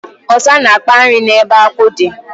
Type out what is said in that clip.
Ọsa na-akpa nri n'ebe akwụ dị.